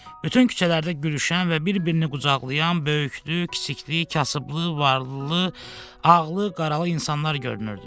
Bütün küçələrdə gülüşən və bir-birini qucaqlayan böyüklü, kiçikli, kasıblı, varlılı, ağlı, qaralı insanlar görünürdü.